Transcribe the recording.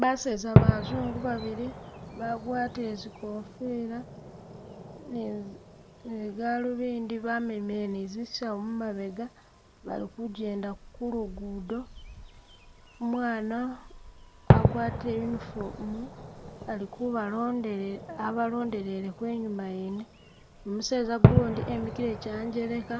Baseza bazungu babili bagwatile zigofila ne zi ne galuvindi bamemele ni zisawu mumabega bali kujenda kulugudo, umwaana agwatile uniform ali kubalondele abalondeleleko i'nyuma wene ni museza gundi emikile janjeleka